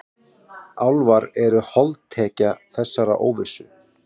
Álfar eru holdtekja þessarar óvissu.